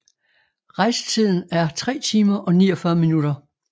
Rejsetiden er 3 timer og 49 minutter